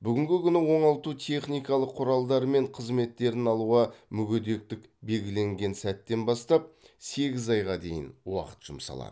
бүгінгі күні оңалтудың техникалық құралдары мен қызметтерін алуға мүгедектік белгіленген сәттен бастап сегіз айға дейін уақыт жұмсалады